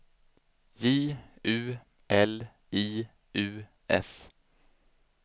J U L I U S